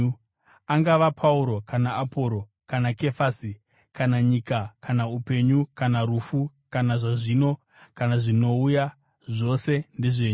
angava Pauro kana Aporosi, kana Kefasi, kana nyika, kana upenyu, kana rufu, kana zvazvino, kana zvinouya, zvose ndezvenyu,